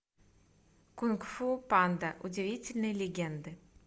кунг фу панда удивительные легенды